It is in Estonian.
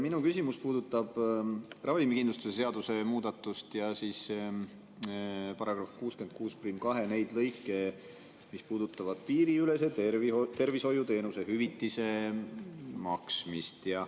Minu küsimus puudutab ravikindlustuse seaduse muudatust ja § 662, piiriülese tervishoiuteenuse hüvitise maksmist.